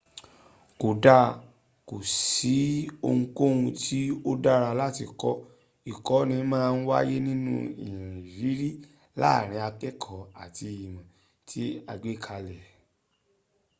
kódà kò sí ohunkóhun tí ó dára láti kọ́. ìkọ́ni máa ń wáyé nínú ìrírí láàrín akẹ́kọ̀ọ́ àti ìmọ̀ tí a gbé kalẹ̀